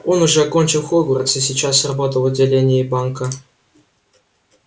он уже окончил хогвартс и сейчас работал в отделении банка